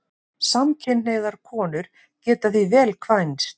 Samkynhneigðar konur geta því vel kvænst.